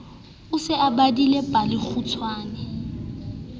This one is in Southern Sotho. o se o badile palekgutshwe